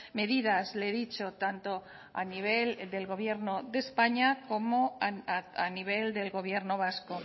medidas le he dicho tanto a nivel del gobierno de españa como a nivel del gobierno vasco